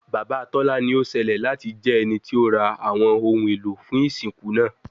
Baba Tola ni o ṣẹlẹ lati jẹ ẹniti o ra awọn ohun elo fun isinku naa